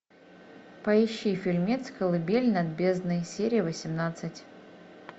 поищи фильмец колыбель над бездной серия восемнадцать